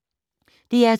DR2